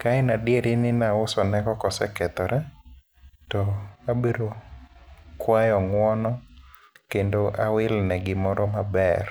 Ka en adieri ni nausonego kosekethore, to abiro kwayo ng'uono, kendo awilne gi moro maber.